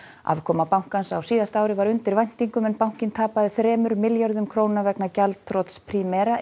afkoma bankans á síðasta ári var undir væntingum en bankinn tapaði þremur milljörðum vegna gjaldþrots Primera